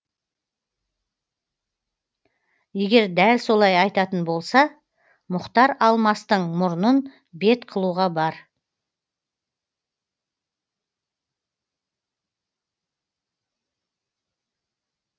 егер дәл солай айтатын болса мұхтар алмастың мұрнын бет қылуға бар